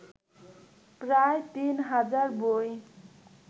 প্রায় তিন হাজার বই